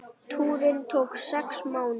Túrinn tók sex mánuði.